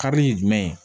Karili ye jumɛn ye